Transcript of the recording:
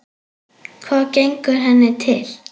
Hvað gengur henni til?